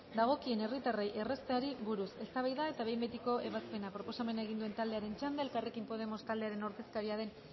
dagokien herritarrei errazteari buruz eztabaida eta behin betiko ebazpena proposamena egin duen taldearen txanda elkarrekin podemos taldearen ordezkaria den